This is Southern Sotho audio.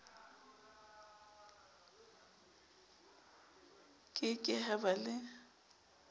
ke ke ha ba le